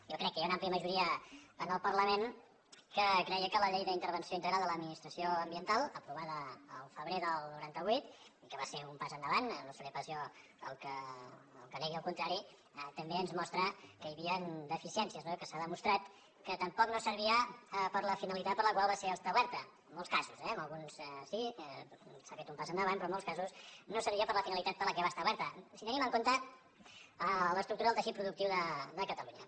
jo crec que hi ha una àmplia majoria en el parlament que creia que la llei d’intervenció integral de l’administració ambiental aprovada el febrer del noranta vuit i que va ser un pas endavant no seré pas jo el que negui el contrari també ens mostra que hi havien deficiències que s’ha demostrat que tampoc no servia per a la finalitat per a la qual va ser establerta en molts casos eh en alguns sí s’hi ha fet un pas endavant però en molts casos no servia per a la finalitat per a la que va ser establerta si tenim en compte l’estructura del teixit productiu de catalunya